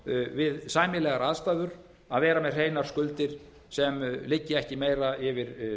við sæmilegar aðstæður að vera með hreinar skuldir sem liggja ekki meira yfir